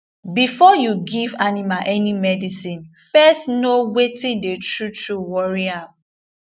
be for you give animal any medicine first know weyth dey true true worry am